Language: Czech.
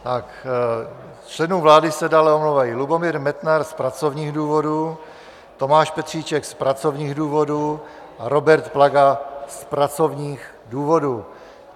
Z členů vlády se dále omlouvají Lubomír Metnar z pracovních důvodů, Tomáš Petříček z pracovních důvodů a Robert Plaga z pracovních důvodů.